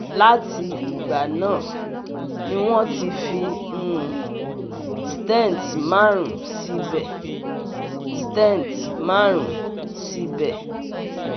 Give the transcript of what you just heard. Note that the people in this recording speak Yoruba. lati igba na ni won ti fi um stent marun sibe stent marun sibe